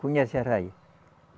Conhece a arraia?